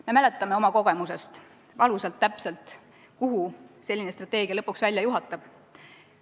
Me mäletame oma kogemusest valusalt täpselt, kuhu selline strateegia lõpuks välja viib.